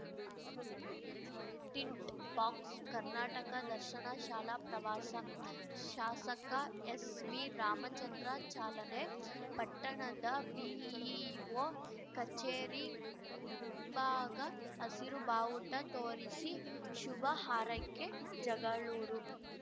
tint ಬಾಕ್ಸ‌ ಕರ್ನಾಟಕ ದರ್ಶನ ಶಾಲಾ ಪ್ರವಾಸ ಶಾಸಕ ಎಸ್‌ವಿರಾಮಚಂದ್ರ ಚಾಲನೆ ಪಟ್ಟಣದ ಬಿಇಒ ಕಚೇರಿ ಮುಂಭಾಗ ಹಸಿರು ಬಾವುಟ ತೋರಿಸಿ ಶುಭ ಹಾರೈಕೆ ಜಗಳೂರು